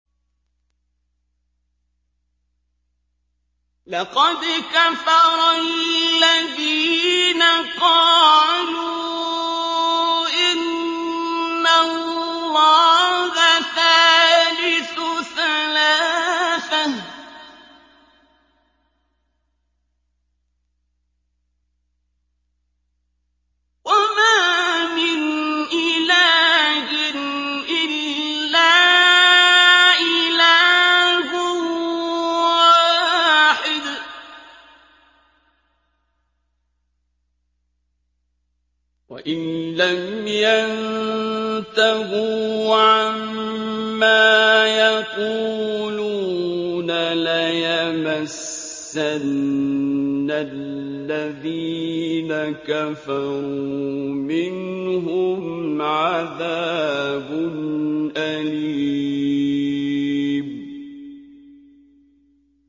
لَّقَدْ كَفَرَ الَّذِينَ قَالُوا إِنَّ اللَّهَ ثَالِثُ ثَلَاثَةٍ ۘ وَمَا مِنْ إِلَٰهٍ إِلَّا إِلَٰهٌ وَاحِدٌ ۚ وَإِن لَّمْ يَنتَهُوا عَمَّا يَقُولُونَ لَيَمَسَّنَّ الَّذِينَ كَفَرُوا مِنْهُمْ عَذَابٌ أَلِيمٌ